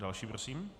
Další prosím.